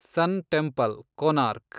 ಸನ್ temple, Konark